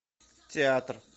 театр